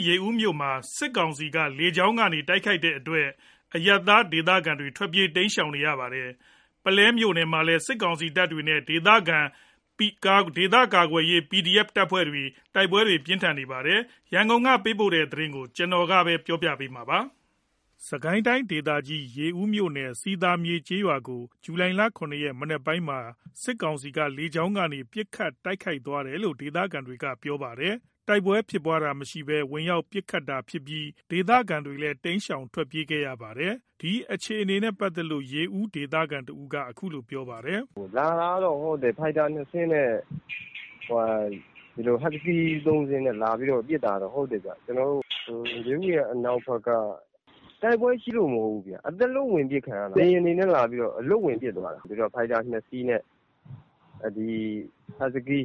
း ရေဦးမြို့နယ်မှာ စစ်ကောင်စီရဲ့ လေကြောင်းပစ်ခတ်မှုကြောင့် အရပ်သားဒေသခံတွေ ထွက်ပြေး တိမ်းရှောင်နေရပါတယ်။ ပုလဲမြို့နယ်မှာလည်း နယ်မြေရှင်းလင်းနေတဲ့ စစ်ကောင်စီတပ်နဲ့ ဒေသခံကာကွယ်ရေးတပ်ဖွဲ့တွေ စစ်ရေးတင်းမာနေပါတယ်။ ရန်ကုန်က ပေးပို့လာတဲ့ စစ်ကိုင်းတိုင်း အခြေအနေတွေကို ကိုခင်မောင်စိုးမင်း ကပြောပြပါမယ်။ စစ်ကိုင်းတိုင်းဒေသကြီး ရေဦးမြို့နယ် စည်သာမြေ ကျေးရွာကို ဇူလိုင် ၇ ရက် မနက်ပိုင်းမှာ စစ်ကောင်စီက လေကြောင်းကနေ ပစ်ခတ်တိုက်ခိုက်ခဲ့တယ်လို့ ဒေသခံတွေက ပြောပါတယ်။ အပြန်အလှန်တိုက်ပွဲဖြစ်ပွားတာမျိုးမရှိဘဲ ဝင်ရောက် ပစ်ခတ်သွားတာလို့ ဒေသခံတွေက ပြောကြပါတယ်။ ဒီလို ပစ်ခတ်တာကြောင့် ဒေသခံတွေ ထွက်ပြေးတိမ်းရှောင်ကြရတယ်လို့ ရေဦး ဒေသခံတဦးက ပြောပါတယ်။ “လာတာကတော့ ဖိုက်တာ ၂ စင်းနဲ့ ဟတ်စကီး ၃ စီးနဲ့လာပြီးပစ်တာဟုတ်တယ်။ ရေဦးရဲ့အနောက်ဖက်မှာ။ တိုက်ပွဲရှိလို့တော့မဟုတ်ဘူး။ အသားလွတ်ဝင်ပစ်ခံရတာ။ လေယာဉ်တွေနဲ့လာပြီးတော့ အလွတ်ဝင်ပစ်သွားတာ။ ဖိုက်တာ ၂ စီးနဲ့ ဟတ်စကီး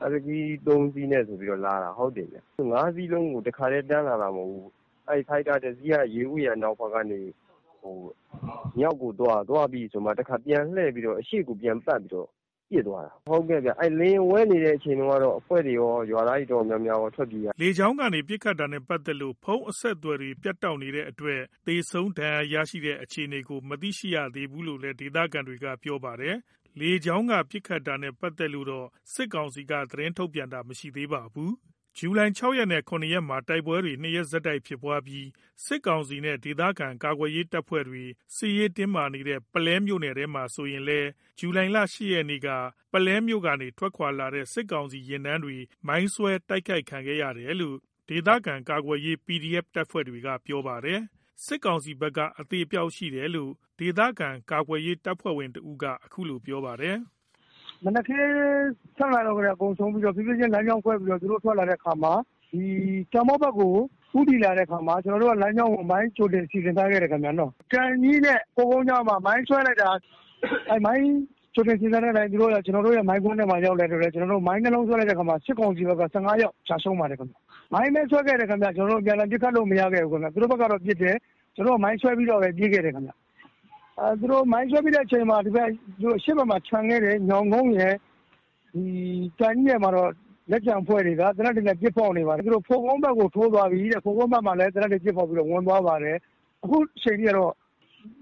၃ စီးနဲ့ လာတာ။ ၅ စီးလုံး တခါတည်း တန်းလာတာမဟုတ်ဘူး။ ဖိုက်တာ ၁ စီးက ရေဦးရဲ့ အနောက်ဖက်ကနေ မြောက်ကိုသွား သွားပြီးပြီဆိုမှ ပြန်ပတ်ပြီး အရှေ့ကို ပြန်လှည့်ပြီး ပစ်သွားတာ။ အဲ့လေယာဉ်ဝဲနေတဲ့အချိန် တုန်းက အဖွဲ့တွေကော ရွာသားတွေ တော်တော်များများကော ထွက်ပြေးရတယ်။” လေကြောင်းကနေ ပစ်ခတ်တာနဲ့ ပတ်သက်လို့ ဖုန်းအဆက်အသွယ်တွေ ပြတ်တောက်နေတဲ့အတွက် သေဆုံးဒဏ်ရာရတဲ့ အခြေအနေကို မသိရှိရသေးဘူးလို့လည်း ဒေသခံတွေကပြောပါတယ်။ လေကြောင်းက ပစ်ခတ်တာနဲ့ ပတ်သက်လို့တော့ စစ်ကောင်စီက သတင်းထုတ်ပြန်တာ မရှိသေးပါဘူး။ ဇူလိုင် ၆ ရက်နဲ့ ၇ ရက်မှာ တိုက်ပွဲတွေ ၂ ရက်ဆက်တိုက် ဖြစ်ပွားပြီး စစ်ကောင်စီနဲ့ ဒေသခံကာကွယ်ရေး တပ်ဖွဲ့တွေ စစ်ရေးတင်းမာနေတဲ့ ပုလဲမြို့နယ်ထဲမှာဆိုရင်လည်း ဇူလိုင် ၈ ရက်မှာ ပုလဲမြို့ကနေ ထွက်ခွါလာတဲ့ စစ်ကောင်စီယာဉ်တန်းတွေ မိုင်းဆွဲတိုက်ခိုက်ခံရတယ်လို့ ဒေသခံကာကွယ်ရေး တပ်ဖွဲ့တွေဘက်က ပြောပါတယ်။ စစ်ကောင်စီဘက်က အသေအပျောက်ရှိတယ်လို့ ဒေသခံကာကွယ်ရေးတပ်ဖွဲ့ဝင်တဦးက အခုလို ပြောပါတယ်။ “မနက်ခင်း ၆ နာရီလောက်ကတည်းက အကုန်စုံပြီးတော့ ဖြေးဖြေးချင်းလမ်းကြောင်းခွဲပြီး သူတို့ထွက်လာတဲ့အခါမှာ ကံပေါက်(ရွာ) ဘက်ကို ဦးတည်လာတဲ့အခါမှာ ကျွန်တော်တို့က မိုင်းကြိုတင်စီစဉ်ထားခဲ့တယ်။ ကံကြီးနဲ့ဖိုကုန်းကြား(အရောက်) မှာ မိုင်းဆွဲလိုက်တာ မိုင်းကြိုတင်စီစဉ်ထားတဲ့ မိုင်းကွင်းထဲကို သူတို့ရောက်လာတဲ့အတွက် မိုင်း ၂ လုံးဆွဲလိုက်တာ စစ်ကောင်စီ ဘက်က ၁၅ ယောက် ကျရှုံးပါတယ်။ မိုင်းပဲဆွဲခဲ့တယ် အပြန်အလှန် ပစ်ခတ်လို့ မရခဲ့ဘူး။ သူတို့ဘက်ကတော့ ပစ်တယ်။ ကျွန်တော်တို့က မိုင်းဆွဲပြီးတော့ပဲ ပြေးခဲ့တယ်ခင်ဗျ။ မိုင်းဆွဲပြီးတဲ့အချိန်မှာ အရှေ့ဘက်မှာ ချန်ခဲ့တဲ့ ညောင်ကုန်းရယ် ကံကြီးရယ်မှာတော့ လက်ကျန်အဖွဲ့တွေက သေနတ်တွေနဲ့ ပစ်ဖောက်နေပါတယ်။ ဖိုကုန်း ဘက်ကိုထိုးသွားပြီ အဲ့မှာလည်း သေနတ်တွေ ပစ်ဖောက်နေတယ်။ အခုချိန်ထိကတော့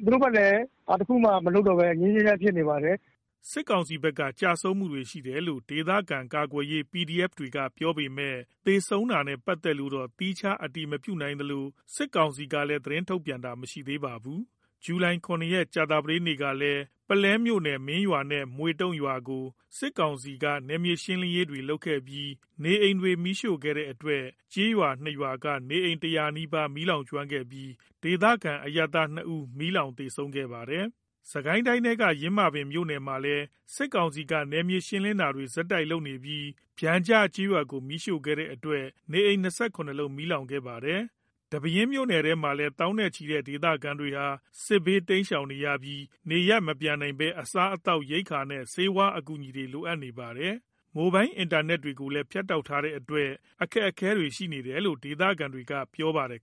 သူတို့ဘက်လည်း ဘာတခုမှ မလုပ်တော့ဘဲ ငြိမ်းငြိမ်းချမ်းချမ်းဖြစ်နေပါတယ်။” စစ်ကောင်စီဘက်က ကျရှုံးမှုတွေရှိတယ်လို့ ဒေသခံကာကွယ်ရေးတပ်ဖွဲ့တွေက ပြောပေမယ့် သေဆုံးတာနဲ့ပတ်သက်လို့တော့ သီးခြားအတည်မပြုနိုင်သလို စစ်ကောင်စီကလည်း သတင်းထုတ်ပြန်တာမရှိသေးပါဘူး။ ဇူလိုင် ၇ ရက် ကြာသတေးနေ့ကလည်း ပုလဲမြို့နယ် မင်းရွာနဲ့ မွေ့တုံရွာကို စစ်ကောင်စီက နယ်မြေရှင်းလင်းတာတွေ လုပ်ခဲ့ပြီး နေအိမ်တွေ မီးရှို့ခဲ့တဲ့အတွက် ကျေးရွာ ၂ ရွာက နေအိမ် ၁၀၀ နီးပါး မီးလောင်ကျွမ်းခဲ့ပြီး ဒေသခံ အရပ်သား ၂ ဦး မီးလောင် သေဆုံးခဲ့တယ်လို့ ဒေသခံတွေပြောပါတယ်။ စစ်ကိုင်းတိုင်းထဲက ယင်းမာပင်မြို့နယ်ထဲမှာလည်း စစ်ကောင်စီက နယ်မြေရှင်းလင်းတာတွေ ဆက်လုပ်နေပြီး ပျံကျကျေးရွာကို မီးရှို့ခဲ့တဲ့အတွက် နေအိမ် ၂၇ လုံးမီးလောင်ကျွမ်းခဲ့ပါတယ်လို့ ဆိုပါတယ်။ ဒီပဲယင်းမြို့နယ်ထဲမှာ သောင်းနဲ့ချီတဲ့ဒေသခံတွေဟာ စစ်ဘေးတိမ်းရှောင်နေရပြီး နေရပ်မပြန်နိုင်ဘဲ အစားအသောက် ရိက္ခာနဲ့ ဆေးဝါးအကူအညီတွေ လိုအပ်နေပါတယ်။ မိုဘိုင်းအင်တာနက်တွေလည်း ဖြတ်တောက်ထားတဲ့အတွက် အခက်အခဲတွေရှိနေတယ်လို့ ဒေသခံတွေက ပြောပါတယ်